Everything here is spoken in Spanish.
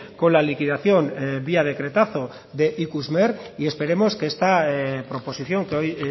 con la liquidación vía decretazo de ikusmer y esperemos que esta proposición que hoy